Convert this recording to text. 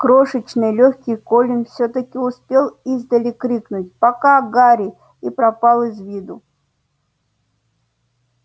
крошечный лёгкий колин всё-таки успел издали крикнуть пока гарри и пропал из виду